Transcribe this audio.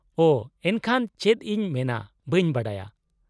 -ᱳᱺ, ᱮᱱᱠᱷᱟᱱ ᱪᱮᱫ ᱤᱧ ᱢᱮᱱᱟ ᱵᱟᱹᱧ ᱵᱟᱰᱟᱭᱟ ᱾